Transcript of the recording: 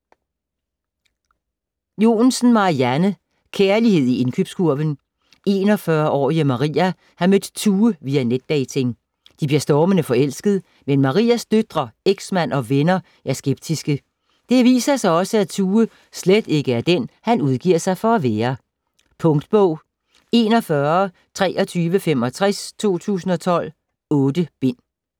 Joensen, Marianne: Kærlighed i indkøbskurven 41-årige Maria har mødt Tue via netdating. De bliver stormende forelsket, men Marias døtre, ex-mand og venner er skeptiske. Det viser sig også, at Tue slet ikke er den, han udgiver sig for at være. Punktbog 412365 2012. 8 bind.